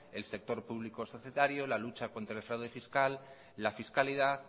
el sector público societario la lucha contra el fraude fiscal la fiscalidad